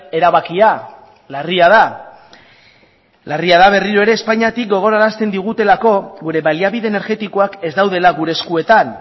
erabakia larria da larria da berriro ere espainiatik gogorarazten digutelako gure baliabide energetikoak ez daudela gure eskuetan